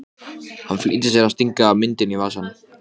Býr Marta Jónasdóttir hér hjá ykkur?